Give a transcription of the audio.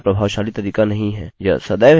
यह सदैव ही visitors एकोecho करेगा